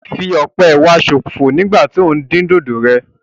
O fí ọpẹ wa sọ̀fọ nígbà tí o ń din dódò rẹ